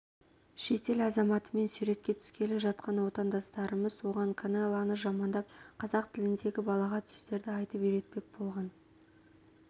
шетел азаматымен суретке түскелі жатқан отандастарымыз оған канелоны жамандап қазақ тіліндегі балағат сөздерді айтып үйретпек болған